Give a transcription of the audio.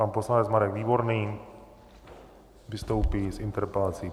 Pan poslanec Marek Výborný vystoupí s interpelací.